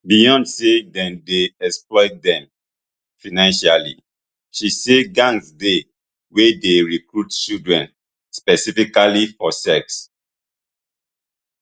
beyond say dem dey exploit dem financially she say gangs dey wey dey recruit children specifically for sex